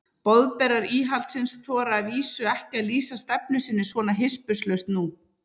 Boðberar íhaldsins þora að vísu ekki að lýsa stefnu sinni svona hispurslaust nú.